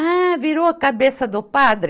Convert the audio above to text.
Ah, virou a cabeça do padre!